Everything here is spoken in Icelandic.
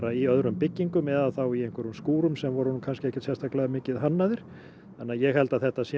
í öðrum byggingum eða þá í einhverjum skúrum sem voru ekkert sérstaklega mikið hannaðir þannig að ég held að þetta sé